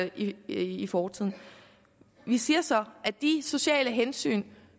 i fortiden vi siger så at de sociale hensyn